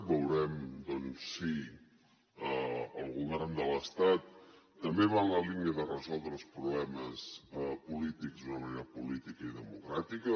veurem doncs si el govern de l’estat també va en la línia de resoldre els problemes polítics d’una manera política i democràtica